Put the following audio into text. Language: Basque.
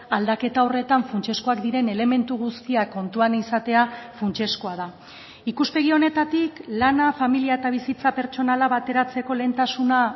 aldaketa horretan funtsezkoak diren elementu guztiak kontuan izatea funtsezkoa da ikuspegi honetatik lana familia eta bizitza pertsonala bateratzeko lehentasuna